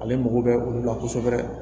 Ale mago bɛ olu la kosɛbɛ